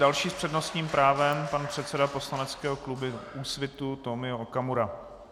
Další s přednostním právem, pan předseda poslaneckého klubu Úsvitu Tomio Okamura.